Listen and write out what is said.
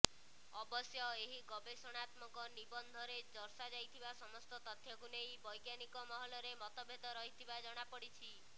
ଅବଶ୍ୟ ଏହି ଗବେଷଣାତ୍ମକ ନିବନ୍ଧରେ ଦର୍ଶାଯାଇଥିବା ସମସ୍ତ ତଥ୍ୟକୁ ନେଇ ବୈଜ୍ଞାନିକ ମହଲରେ ମତଭେଦ ରହିଥିବା ଜଣାପଡ଼ିଛି